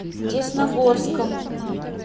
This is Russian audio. десногорском